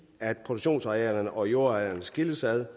at produktionsarealerne og jordarealerne skilles ad